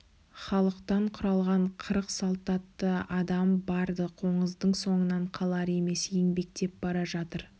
халықтан құралған қырық салтатты адам бар-ды қоңыздың соңынан қалар емес еңбектеп бара жатыр